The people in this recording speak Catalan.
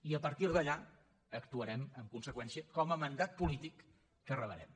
i a partir d’allà actuarem en conseqüència com a mandat polític que rebrem